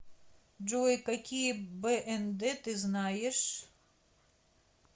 джой какие бнд ты знаешь